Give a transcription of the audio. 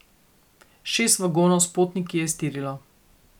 Šest vagonov s potniki je iztirilo.